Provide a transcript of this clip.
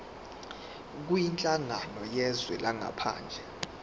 kwinhlangano yezwe langaphandle